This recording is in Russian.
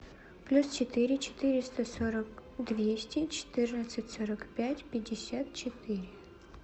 плюс четыре четыреста сорок двести четырнадцать сорок пять пятьдесят четыре